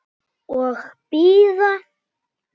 Og bíða.